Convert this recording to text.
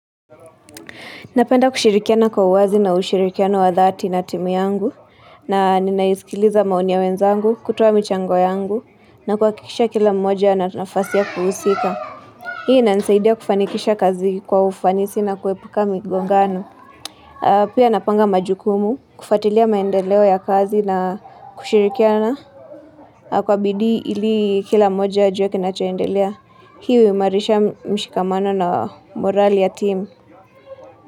Napenda kushirikiana kwa uwazi na ushirikiano wa dhati na timu yangu. Na ninaisikiliza maoni ya wenzangu, kutoa michango yangu. Na kuhakikisha kila mmoja ana nafasia kuhusika. Hii inanisaidia kufanikisha kazi kwa ufanisi na kuepuka migongano. Pia napanga majukumu, kufwatilia maendeleo ya kazi na Kushirikiana Kwa bidi ili kila mmoja ajue kinachaendelea. Hii huimarisha mshikamano na morali ya timu.